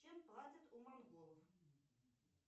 чем платят у монголов